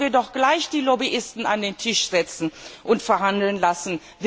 Dann könnten wir doch gleich die Lobbyisten an den Tisch setzen und verhandeln lassen!